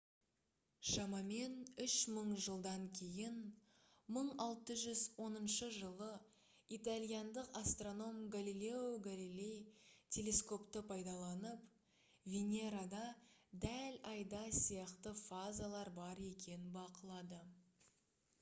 шамамен үш мың жылдан кейін 1610 жылы итальяндық астроном галилео галилей телескопты пайдаланып венерада дәл айда сияқты фазалар бар екенін бақылады